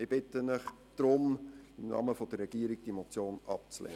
Ich bitte Sie deshalb im Namen der Regierung, die Motion abzulehnen.